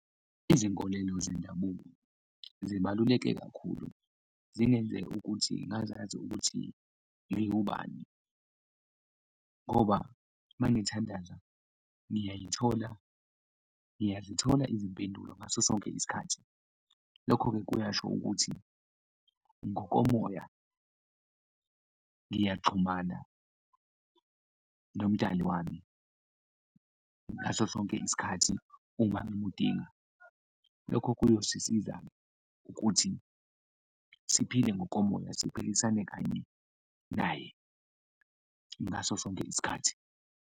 Izinkolelo zendabuko zibaluleke kakhulu, zingenze ukuthi ngazazi ukuthi ngiwubani ngoba mangithandaza ngiyazithola izimpendulo ngaso sonke isikhathi. Lokho-ke kuyasho ukuthi ngokomoya ngiyaxhumana nomdali wami ngaso sonke isikhathi uma ngimudinga, lokho kuyosisiza ukuthi siphile ngokomoya, siphilisane kanye naye ngaso sonke isikhathi.